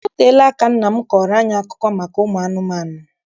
O teela aka nna m kọọrọ anyị akụkọ maka ụmụ anụmanụ.